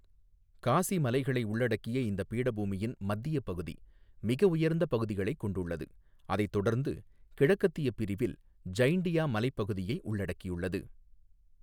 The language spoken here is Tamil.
காசி மலைகளை உள்ளடக்கிய இந்த பீடபூமியின் மத்திய பகுதி மிக உயர்ந்த பகுதிகளைக் கொண்டுள்ளது, அதைத் தொடர்ந்து கிழக்கத்திய பிரிவில் ஜைண்டியா மலைப் பகுதியை உள்ளடக்கியுள்ளது.